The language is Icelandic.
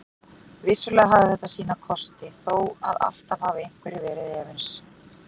Vissulega hafði þetta sína kosti þó að alltaf hafi einhverjir verið efins.